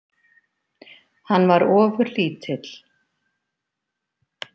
Hann var ofurlítill.